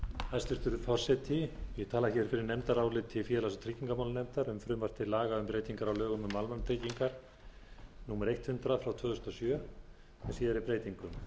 hæstvirtur forseti ég tala fyrir nefndaráliti félags og tryggingamálanefndar um frumvarp til laga um breytingar á lögum um almannatryggingar númer hundrað tvö þúsund og sjö með síðari breytingum